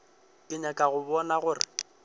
ke nyaka go bona gore